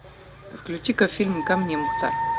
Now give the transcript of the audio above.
включи ка фильм ко мне мухтар